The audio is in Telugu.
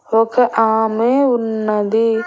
ఒక ఆమె ఉన్నది.